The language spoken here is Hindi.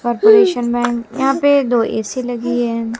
कॉरपोरेशन बैंक यहां पे दो ए_सी लगी है।